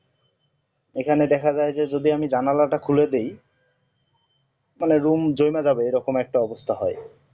এখানে দেখা যাই যে যদি আমি জানলা তা খুলেদিই room জমে যাবে এই রকম একটা অবস্থা হয়